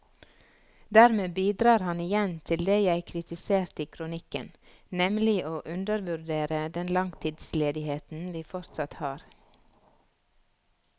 Dermed bidrar han igjen til det jeg kritiserte i kronikken, nemlig å undervurdere den langtidsledigheten vi fortsatt har.